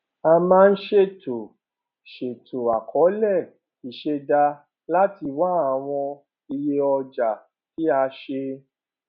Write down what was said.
a máa ń ṣètò ń ṣètò àkọọlẹ ìṣẹdá láti wá àwọn iye ọjà tí a ṣe